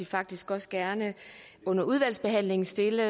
faktisk også gerne under udvalgsbehandlingen stille